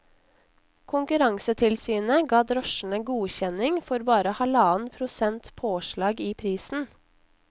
Konkurransetilsynet ga drosjene godkjenning for bare halvannen prosents påslag i prisen.